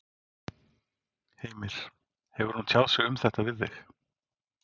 Heimir: Hefur hún tjáð sig um þetta við þig?